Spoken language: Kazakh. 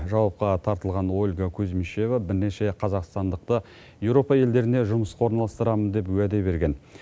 жауапқа тартылған ольга кузмишева бірнеше қазақстандықты еуропа елдеріне жұмысқа орналастырамын деп уәде берген